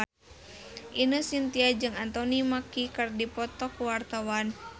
Ine Shintya jeung Anthony Mackie keur dipoto ku wartawan